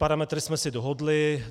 Parametry jsme si dohodli.